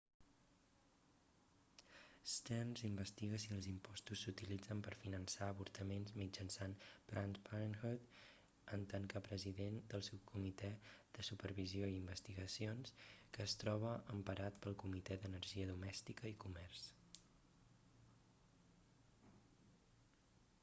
stearns investiga si els impostos s'utilitzen per finançar avortaments mitjançant planned parenthood en tant que president del subcomitè de supervisió i investigacions que es troba emparat pel comitè d'energia domèstica i comerç